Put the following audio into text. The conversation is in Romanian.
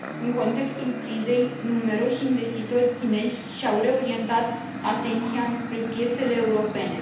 În contextul crizei, numeroși investitori chinezi și au reorientat atenția înspre piețele europene.